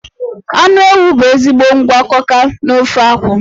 Anụ ewu bụ ezigbo ngwakọka n'ofe akwu.